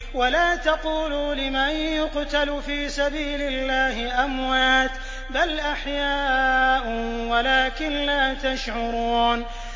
وَلَا تَقُولُوا لِمَن يُقْتَلُ فِي سَبِيلِ اللَّهِ أَمْوَاتٌ ۚ بَلْ أَحْيَاءٌ وَلَٰكِن لَّا تَشْعُرُونَ